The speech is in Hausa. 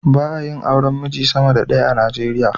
Ba a yin auren miji sama da ɗaya a Najeriya.